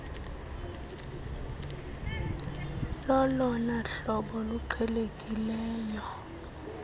lolona hlobo luqhelekileyo